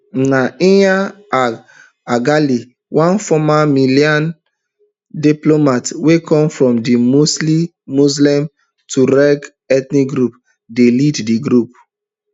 na iyad ag ghali one former malian diplomat wey come from di mostly muslim tuareg ethnic group dey lead di group